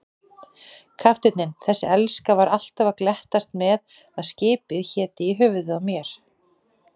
Kafteinninn, þessi elska, var alltaf að glettast með að skipið héti í höfuðið á mér.